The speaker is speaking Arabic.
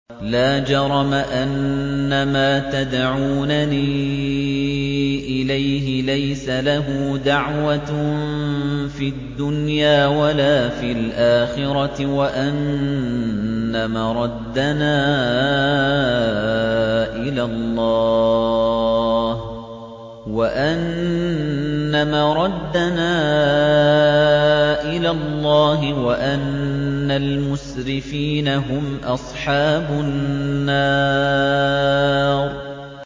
لَا جَرَمَ أَنَّمَا تَدْعُونَنِي إِلَيْهِ لَيْسَ لَهُ دَعْوَةٌ فِي الدُّنْيَا وَلَا فِي الْآخِرَةِ وَأَنَّ مَرَدَّنَا إِلَى اللَّهِ وَأَنَّ الْمُسْرِفِينَ هُمْ أَصْحَابُ النَّارِ